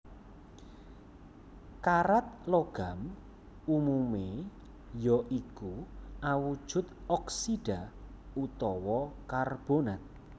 Karat logam umumé ya iku awujud oksida utawa karbonat